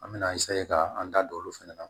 An me na ka an da don olu fɛnɛ na